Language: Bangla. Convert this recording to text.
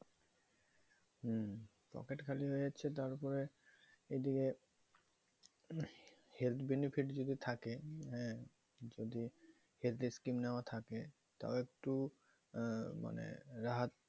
পকেট খালি হয়ে যাচ্ছে তার পরে এদিকে health benefit যদি থাকে মানে যদি health এর scheme নেওয়া থাকে তাহলে ইকটু